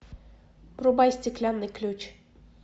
врубай стеклянный ключ